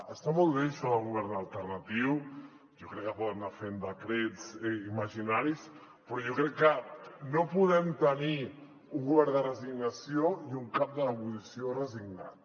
està molt bé això de govern alternatiu jo crec que poden anar fent decrets imaginaris però jo crec que no podem tenir un govern de resignació i un cap de l’oposició resignat